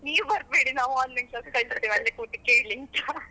ನೀವ್ ಬರ್ಬೇಡಿ ನಾವು Online class ಕಲಿಸ್ತೆವೆ, ನೀವು ಅಲ್ಲೇ ಕೂತ್ಕೊಡು ಕೇಳಿ ಅಂತ .